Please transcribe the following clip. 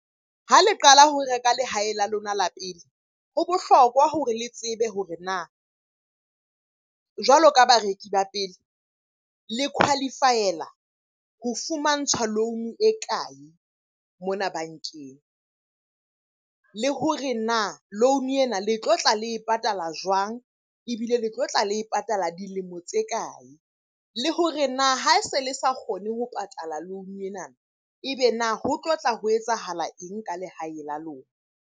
Ha le qala ho reka lehae la lona la pele, ho bohlokwa hore le tsebe hore na jwalo ka bareki ba pele le qualify-ela ho fumantshwa loan-o e kae mona bankeng? Le hore na loan-o ena le tlotla le patala jwang? Ebile le tlotla le e patala dilemo tse kae? Le hore na ha se le sa kgone ho patala loan-o ena, ebe na ho tlotla ho etsahala eng ka lehae la lona?